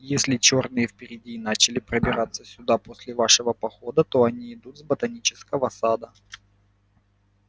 если чёрные впереди начали пробираться сюда после вашего похода то они идут с ботанического сада